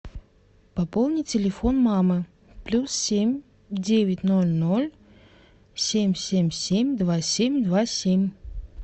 пополни телефон мамы плюс семь девять ноль ноль семь семь семь два семь два семь